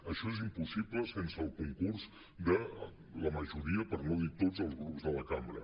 això és impossible sense el concurs de la majoria per no dir tots els grups de la cambra